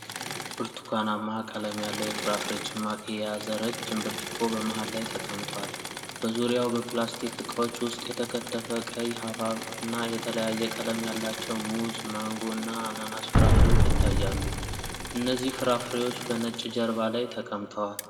ብርቱካናማ ቀለም ያለው የፍራፍሬ ጭማቂ የያዘ ረጅም ብርጭቆ በመሃል ላይ ተቀምጧል። በዙሪያው በፕላስቲክ ዕቃዎች ውስጥ የተከተፈ ቀይ ሐብሐብ እና የተለያየ ቀለም ያላቸው ሙዝ፣ ማንጎ እና አናናስ ፍራፍሬዎች ይታያሉ። እነዚህ ፍራፍሬዎች በነጭ ጀርባ ላይ ተቀምጠዋል።